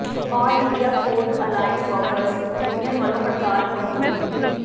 ਆਲ India food allied workers union ਵਲੋ ਹੜਤਾਲ ਮੁਲਤਵੀ